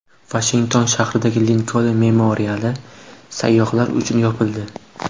Vashington shahridagi Linkoln memoriali sayyohlar uchun yopildi.